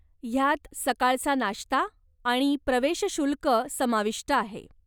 ह्यात सकाळचा नाष्ता आणि प्रवेशशुल्क समाविष्ट आहे.